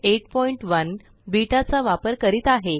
081बीटा चा वापर करीत आहे